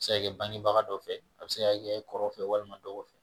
Se ka kɛ banibaga dɔ fɛ, a bɛ se ka kɔrɔ fɛ walima dɔgɔ fɛ